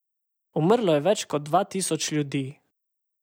Umrlo je več kot dva tisoč ljudi.